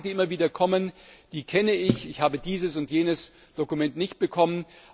Die Klagen, die immer wieder kommen, kenne ich Ich habe dieses und jenes Dokument nicht bekommen.